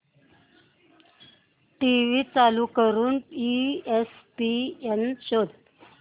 TV चालू करून ESPN शोध